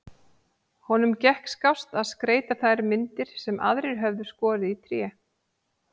Honum gekk skást að skreyta þær myndir sem aðrir höfðu skorið í tré.